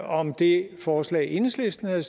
om det forslag enhedslisten har